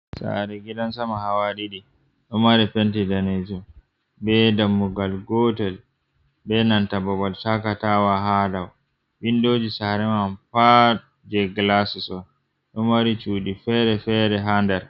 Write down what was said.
Sare gidan sama, hawa ɗiɗi domari penti daneji ɓe dammugal gotel, ɓe nanta babal chakatawa hadaw vindoji sarean pa je glasiso dumari cudi fere-fere hander.